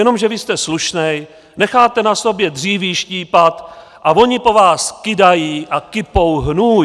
Jenomže vy jste slušný, necháte na sobě dříví štípat a oni po vás kydají a kypou hnůj.